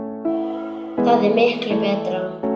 Það er miklu betra.